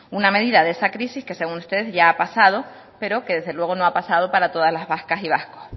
una medida de esa crisis que según ustedes ya ha pasado pero que desde luego no ha pasado para todas las vascas y vascos